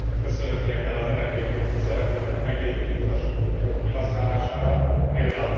Ösztönöznie kell az energiapiaci szereplőket a meglévő infrastruktúra jobb kihasználására, pl.